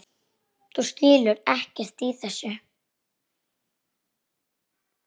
Þú skilur ekkert í þessu.